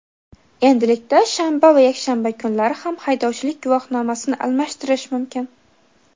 Endilikda shanba va yakshanba kunlari ham haydovchilik guvohnomasini almashtirish mumkin.